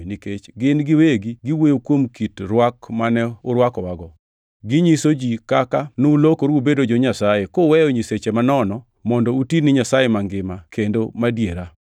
nikech gin giwegi giwuoyo kuom kit rwak mane urwakowago. Ginyiso ji kaka nulokoru ubedo jo-Nyasaye, kuweyo nyiseche manono, mondo uti ne Nyasaye mangima kendo madiera;